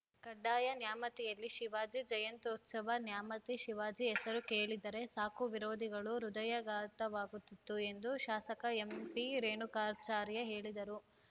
ಕಡ್ಡಾಯ ನ್ಯಾಮತಿಯಲ್ಲಿ ಶಿವಾಜಿ ಜಯಂತ್ಯುತ್ಸವ ನ್ಯಾಮತಿ ಶಿವಾಜಿ ಹೆಸರು ಕೇಳಿದರೆ ಸಾಕು ವಿರೋಧಿಗಳಿಗೆ ಹೃದಯಾಘಾತವಾಗುತ್ತಿತ್ತು ಎಂದು ಶಾಸಕ ಎಂಪಿರೇಣುಕಾಚಾರ್ಯ ಹೇಳಿದರು